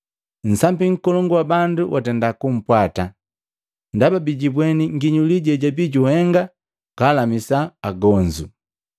Nsambi nkolongu wa bandu watenda kumpwata, ndaba bigibweni nginyuli jejabii juhengi kalamisa agonzu.